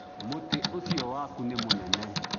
mũtĩ ũcio waku nĩ mũnene